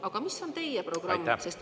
Aga mis on teie programm?